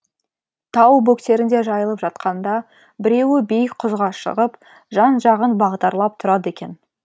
тау бөктерінде жайылып жатқанда біреуі биік құзға шығып жан жағын бағдарлап тұрады екен